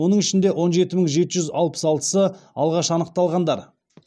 оның ішінде он жеті мың жеті жүз алпыс алтысы алғаш анықталғандар